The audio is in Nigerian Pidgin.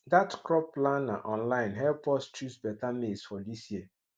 that crop planner online help us choose better maize for this year